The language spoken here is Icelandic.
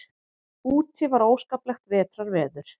Úti var óskaplegt vetrarveður.